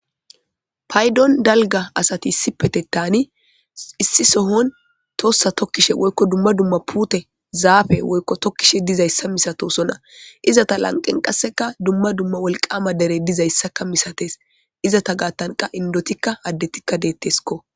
Paydon dalga asati issi petetaani issi sohon toossa tokkishe woykko dumma dumma puute zaafe woykko tokkishe dizayssa misatosona izata lanqen qasseka dumma dumma wolqama dere dizayssakka misates izata gaattanqa indotikka addetikka deetteskko.